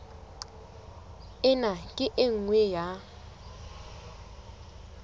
ena ke e nngwe ya